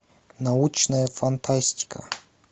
научная фантастика